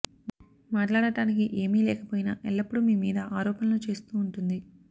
మాట్లాడటానికి ఏమి లేకపోయినా ఎల్లప్పుడూ మీ మీద ఆరోపణలు చేస్తూ ఉంటుంది